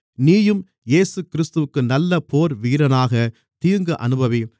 நீயும் இயேசுகிறிஸ்துவிற்கு நல்ல போர்வீரனாக தீங்கு அனுபவி